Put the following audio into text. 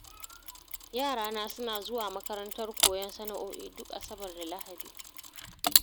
Yarana suna zuwa makarantar koyon sana'o'i, duk asabar da lahadi.